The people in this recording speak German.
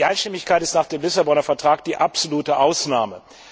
Die Einstimmigkeit ist nach dem Lissabonner Vertrag die absolute Ausnahme.